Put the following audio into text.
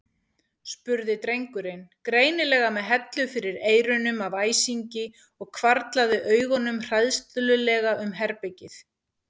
spurði drengurinn, greinilega með hellu fyrir eyrunum af æsingi og hvarflaði augunum hræðslulega um herbergið.